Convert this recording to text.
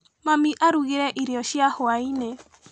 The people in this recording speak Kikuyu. Mami arugire irio cia hwainĩ.